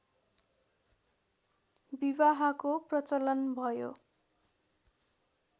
विवाहको प्रचलन भयो